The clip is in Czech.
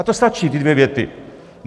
A to stačí, ty dvě věty!